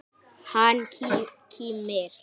Hann kímir.